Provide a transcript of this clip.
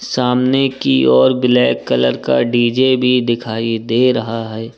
सामने की ओर ब्लैक कलर का डी_जे भी दिखाई दे रहा है।